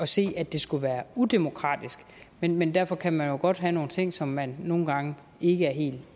se at det skulle være udemokratisk men men derfor kan man jo godt have nogle ting som man nogle gange ikke er helt